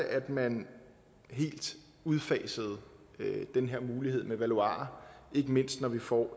at man helt udfasede den her mulighed med valuarer ikke mindst når vi får